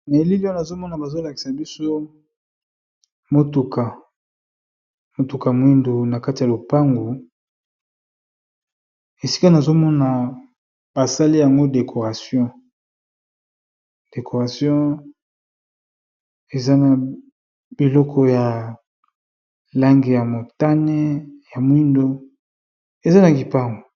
Na elili oyo nazomona bazolakisa biso motuka mwindo na kati ya lopangu esika nazomona basale yango decoration, decoration eza na biloko ya lange ya motane ya mwindo eza na gipangu.